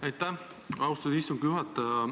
Aitäh, austatud istungi juhataja!